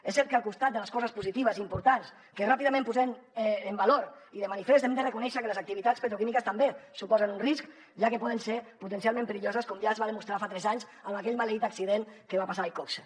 és cert que al costat de les coses positives importants que ràpidament posem en valor i de manifest hem de reconèixer que les activitats petroquímiques també suposen un risc ja que poden ser potencialment perilloses com ja es va demostrar fa tres anys en aquell maleït accident que va passar a iqoxe